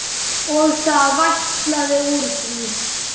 Og það vætlaði úr því.